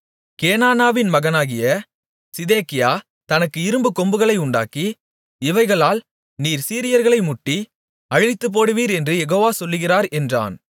கேனானாவின் மகனாகிய சிதேக்கியா தனக்கு இரும்புக்கொம்புகளை உண்டாக்கி இவைகளால் நீர் சீரியர்களை முட்டி அழித்துப்போடுவீர் என்று யெகோவா சொல்லுகிறார் என்றான்